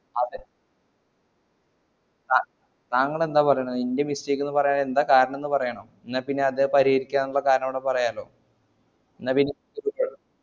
അത അഹ് താങ്കളെന്താ പറയുന്നെ ന്റ്റെ mistake ന്ന് പറയുന്നതിന് കാരണം പറയണം ഇന്നാപ്പിന്നെ അത് പരിഹരിക്കാന്ല്ലേ കാരണം കൂടി പറയാല്ലോ ന്നാ